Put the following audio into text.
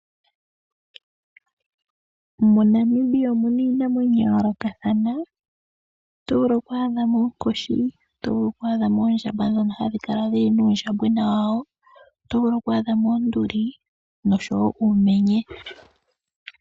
MoNamibia omuna iinamwenyo ya yoolokatha oto vulu ku adhamo oonkoshi, oto vulu ku adhamo oondjamba dhono hadhi kala nuundjambwena wawo oto vulu ku adhamo oonduli noshowo uumenye.